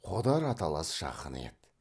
қодар аталас жақыны еді